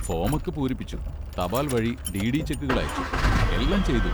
ഫോമൊക്കെ പൂരിപ്പിച്ചു, തപാൽ വഴി ഡി.ഡി ചെക്കുകൾ അയച്ചു, എല്ലാം ചെയ്തു.